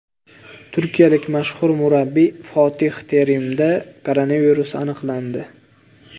Turkiyalik mashhur murabbiy Fotih Terimda koronavirus aniqlandi.